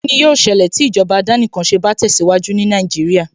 Kíni yóó ṣẹlẹ̀ tí ìjọba àdánìkanṣe bá tẹ̀síwájú ní Nàìjíríà